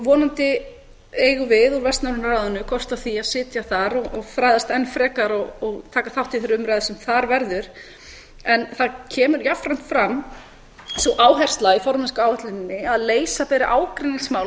vonandi eigum við úr vestnorræna ráðinu kost á því að sitja þar og fræðast enn frekar og taka þátt í þeirri umræðu sem þar verður en það kemur jafnframt fram sú áhersla í formennskuáætluninni að leysa beri ágreiningsmál og